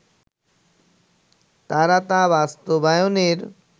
তারা তা বাস্তবায়নের